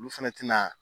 Olu fɛnɛ tɛna